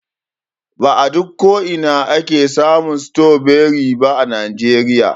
Ba a duk ko'ina ake samun stroberi ba a najeriya.